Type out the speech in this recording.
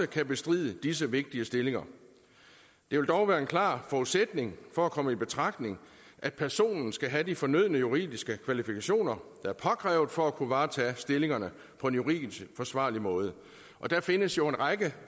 kan bestride disse vigtige stillinger det vil dog være en klar forudsætning for at komme i betragtning at personen skal have de fornødne juridiske kvalifikationer der er påkrævet for at kunne varetage stillingerne på en juridisk forsvarlig måde og der findes jo en række